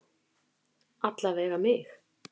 Alla vega mig.